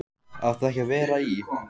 Átt þú ekki að vera í.-?